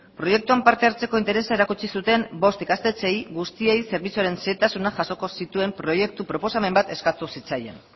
proiektuan parte hartzeko interesa erakutsi zuten bost ikastetxeei guztiei zerbitzuaren zailtasunak jasoko zituen proiektu proposamen bat eskatu zitzaien